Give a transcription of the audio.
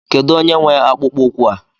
Kedụ onye nwe akpụkpọ ụkwụ a?